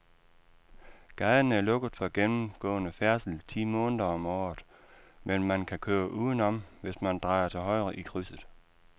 Gaden er lukket for gennemgående færdsel ti måneder om året, men man kan køre udenom, hvis man drejer til højre i krydset.